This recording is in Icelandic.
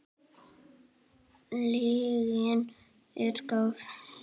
Lygin er góð.